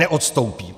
Neodstoupím.